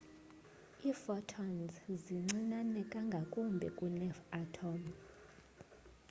iiphotons zincinane nangakumbi kunee-atom